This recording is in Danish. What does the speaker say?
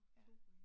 Ja